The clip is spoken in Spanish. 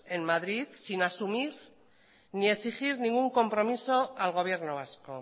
en madrid sin asumir ni exigir ningún compromiso al gobierno vasco